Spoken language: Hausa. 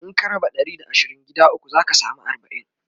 In ka raba Ɗari da asirin gida ukwu zaka samu arbain